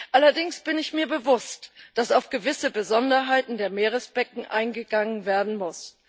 Allerdings bin ich mir bewusst, dass auf gewisse Besonderheiten der Meeresbecken eingegangen werden muss.